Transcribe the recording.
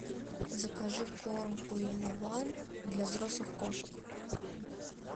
закажи корм пурина ван для взрослых кошек